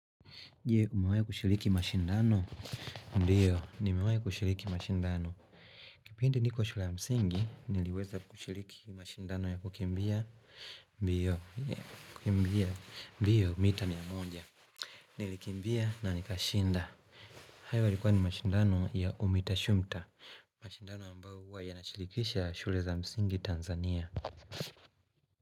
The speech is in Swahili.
Je umewahi kushiriki mashindano? Ndiyo nimewahi kushiriki mashindano Kipindi niko shule ya msingi niliweza kushiriki mashindano ya kukimbia mbio, kukimbia, mbio mita mia moja. Nilikimbia na nikashinda. Hayo yalikuwa ni mashindano ya umita shumta mashindano ambao huwa yanashirikisha shule za msingi Tanzania.